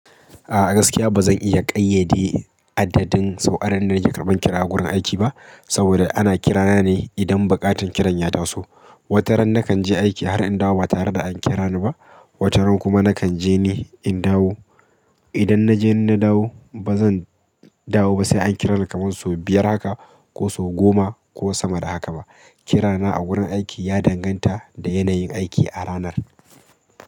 A'a gaskiya ba zan iya ƙayyade adadin sau'ar da nake karɓan kira a wurin aiki ba, saboda ana kira ne idan buƙatar kiran ya taso. Wataran nakan je aiki har in dawo ba tare da an kira ni ba, wataran kuma nakan je ni in dawo. Idan na je ni na dawo, ba zan dawo ba sai an kira ni kaman sau biyar haka ko sau goma ko sama da haka ba. Kirana a wurin aiki ya danganta da yanayin aiki a ranar.